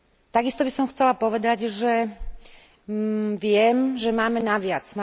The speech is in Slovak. Takisto by som chcela povedať, že viem, že máme na viac.